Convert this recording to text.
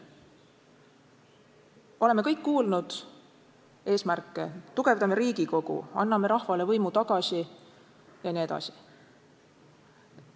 Oleme kõik kuulnud eesmärke: tugevdame Riigikogu, anname rahvale võimu tagasi jne.